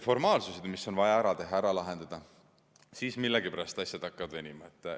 ... ja mis on vaja ära teha, ära lahendada, siis millegipärast hakkavad asjad venima.